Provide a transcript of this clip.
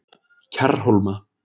Kjarrhólma